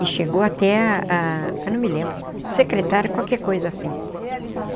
E chegou até a a... não me lembro... secretário, qualquer coisa assim.